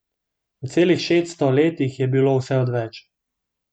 V celih šeststo letih je bilo vse odveč.